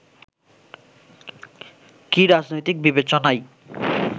কি রাজনৈতিক বিবেচনাই